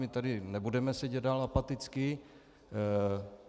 My tady nebudeme sedět dál apaticky.